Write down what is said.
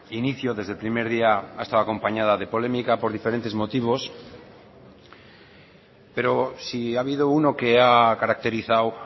inicio desde el primer día ha estado acompañada de polémica por diferentes motivos pero si ha habido uno que ha caracterizado